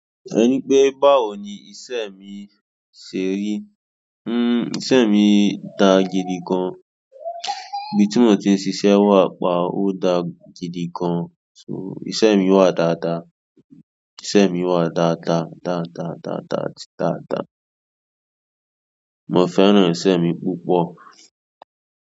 Ẹ ní pé báwo ni iṣẹ́ mi ṣe rí. Hmm, iṣẹ́ mi dà jidi gan. Ibi tí mo ti ń ṣiṣẹ́ wà pa, ó dà gidi gan. So iṣẹ́ mi wà dáadáa, iṣẹ́ mi wà dáadáa, dáadáa, dáadáa, dáadáa. Mo fẹ́ràn iṣẹ́ mi púpọ̀.